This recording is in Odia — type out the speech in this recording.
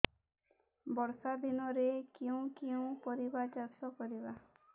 ବର୍ଷା ଦିନରେ କେଉଁ କେଉଁ ପରିବା ଚାଷ କରିବା